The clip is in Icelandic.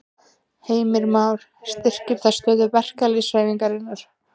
Heimir Már: Styrkir það stöðu verkalýðshreyfingarinnar?